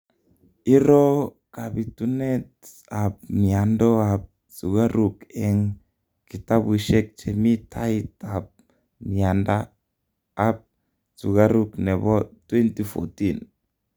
iroo kapitunet ap miando ap sugaruk eng kitapushek chemii tait ap mianda ap sugaruk nepo 2014